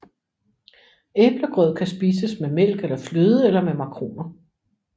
Æblegrød kan spises med mælk eller fløde eller med makroner